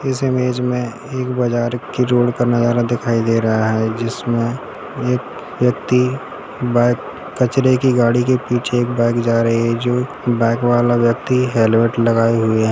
इस इमेज में एक बाजार की रोड का नजारा दिखाई दे रहा है जिसमे एक व्यक्ति बा- कचरे की गाड़ी के पीछे एक बाइक जा रही है जो बाइक वाला व्यक्ति हेलमेट लगाए हुए है।